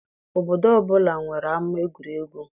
Obodo ọbụla nwere ama egwuregwu.